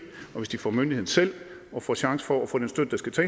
og hvis de får myndigheden selv og får chance for at få den støtte der skal til